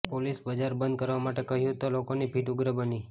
પોલીસે બજાર બંધ કરવા માટે કહ્યું તો લોકોની ભીડ ઉગ્ર બની